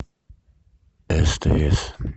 стс